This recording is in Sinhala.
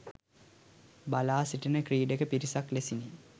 බලා සිටින ක්‍රීඩක පිරිසක් ලෙසිනි.